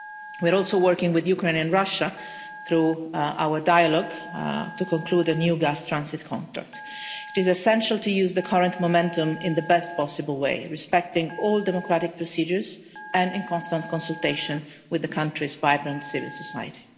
We are also working with Ukraine and Russia through our dialogue to conclude a new gas transit contract. It is essential to use the current momentum in the best possible way, respecting all democratic procedures and in constant consultation with the country's vibrant civil society.